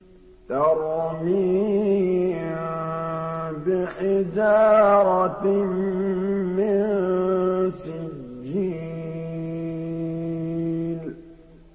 تَرْمِيهِم بِحِجَارَةٍ مِّن سِجِّيلٍ